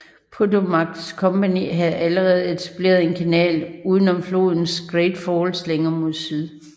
Patowmac Company havde allerede etableret en kanal uden om flodens Great Falls længere mod syd